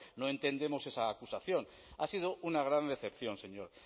no entendemos esa acusación ha sido una gran decepción señor